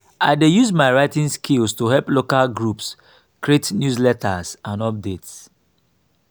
i dey use my writing skills to help local groups create newsletters and updates.